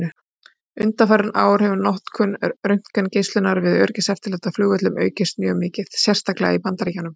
Undanfarin ár hefur notkun röntgengeislunar við öryggiseftirlit á flugvöllum aukist mjög mikið, sérstaklega í Bandaríkjunum.